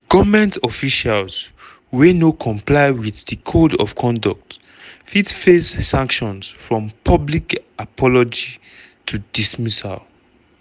goment officials wey no comply wit di code of conduct fit face sanctions from public apology to dismissal.